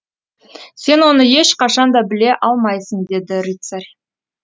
сен оны ешқашан да біле алмайсың деді рыцарь